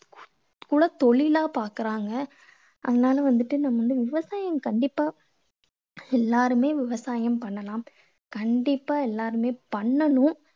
குலத் தொழிலா பார்க்குறாங்க. அதனால வந்துட்டு நம்ம வந்து விவசாயம் கண்டிப்பா எல்லாருமே விவசாயம் பண்ணலாம். கண்டிப்பா எல்லாருமே பண்ணணும்.